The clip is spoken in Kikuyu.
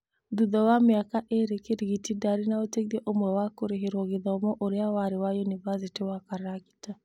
Thutha wa mĩaka ĩrĩ Kĩrigiti ndarĩ na ũteithio ũmwe wa kũrĩhĩrwa gĩthomo ũrĩa wari wa yũnibasĩtĩ ya Karagita.